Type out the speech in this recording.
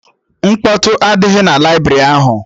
Mkpọtụ adịghị na laibrị ahụ